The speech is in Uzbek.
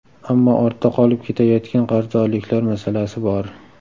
Ammo ortda qolib ketayotgan qarzdorliklar masalasi bor.